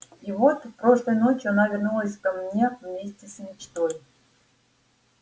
и вот прошлой ночью она вернулась ко мне вместе с мечтой